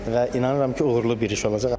Və inanıram ki, uğurlu bir iş olacaq.